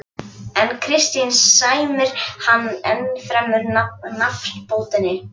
En Kristín sæmir hann ennfremur nafnbótinni